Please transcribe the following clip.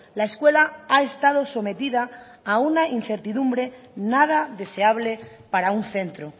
la escuela ha estado sometida a una incertidumbre nada deseable para un centro